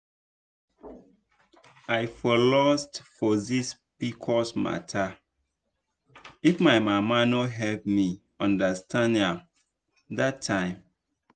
i for lost for this pcos matter if my mama no help me understand am that time.